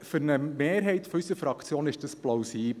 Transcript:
Für eine Mehrheit unserer Fraktion ist das plausibel.